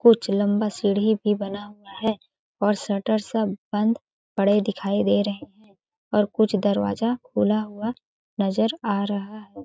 कुछ लंबा सीढ़ी भी बना हुआ है और शटर सब बंद पड़े दिखाई दे रहे है और कुछ दरवाज़ा खुला हुआ नज़र आ रहा है।